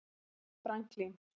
Franklín